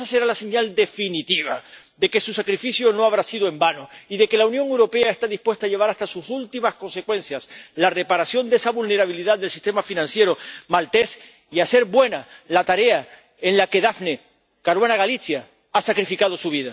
Porque esa será la señal definitiva de que su sacrificio no habrá sido en vano y de que la Unión Europea está dispuesta a llevar hasta sus últimas consecuencias la reparación de esa vulnerabilidad del sistema financiero maltés y hacer buena la tarea por la que Daphne Caruana Galicia ha sacrificado su